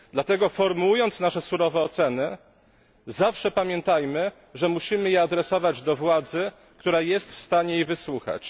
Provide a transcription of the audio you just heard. Dlatego formułując nasze surowe oceny, zawsze pamiętajmy, że musimy je adresować do władzy, która jest w stanie ich wysłuchać.